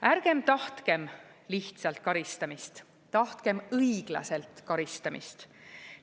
Ärgem tahtkem lihtsalt karistamist, tahtkem õiglaselt karistamist.